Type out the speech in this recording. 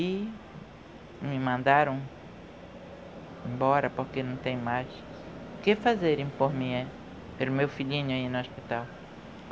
E me mandaram embora, porque não tem mais o que fazerem por mim, pelo meu filhinho ir no hospital.